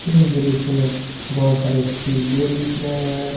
मुझे इस दृश्य में बहोत सारे टिबिए दिख रहे हैं।